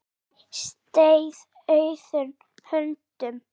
Aldrei setið auðum höndum.